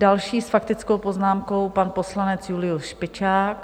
Další s faktickou poznámkou, pan poslanec Julius Špičák.